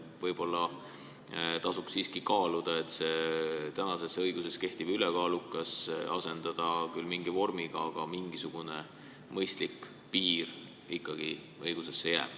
Võib-olla tasub siiski kaaluda, et selle tänases õiguses oleva mõiste "ülekaalukas" võiks küll asendada mingi muu vormiga, aga mingisugune mõistlik piir võiks ikkagi õigusesse jääda.